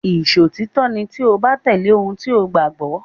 Ìṣòtítọ́ ni tí o bá tẹ̀lé ohun tí o gbàgbọ́.